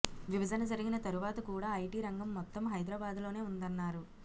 విభజన జరిగిన తరువాత కూడా ఐటీ రంగం మొత్తం హైదరాబాద్లోనే ఉందన్నా రు